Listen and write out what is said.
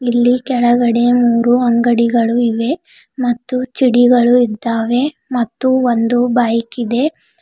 ಇಲ್ಲಿ ಕೆಳಗಡೆ ಮೂರು ಅಂಗಡಿಗಳು ಇವೆ ಮತ್ತು ಚಿಡಿಗಳು ಇದ್ದಾವೆ ಮತ್ತು ಒಂದು ಬೈಕ್ ಇದೆ.